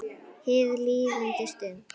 Hin líðandi stund.